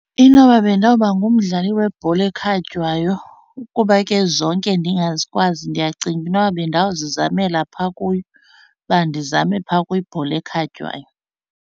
Inoba bendawuba ngumdlali webhola ekhatywayo kuba ke zonke ndingazikwazi, ndiyacinga uba inoba bendawuzizamela phaa kuyo, uba ndizame phaa kwibhola ekhatywayo.